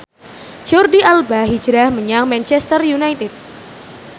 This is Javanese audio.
Jordi Alba hijrah menyang Manchester united